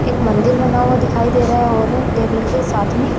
एक मंदिर बना हुआ दिखाई दे रहा है और टेबल के साथ में।